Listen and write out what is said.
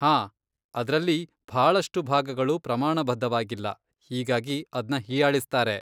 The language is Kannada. ಹಾಂ, ಅದ್ರಲ್ಲಿ ಭಾಳಷ್ಟು ಭಾಗಗಳು ಪ್ರಮಾಣಬದ್ಧವಾಗಿಲ್ಲ, ಹೀಗಾಗಿ ಅದ್ನ ಹೀಯಾಳಿಸ್ತಾರೆ.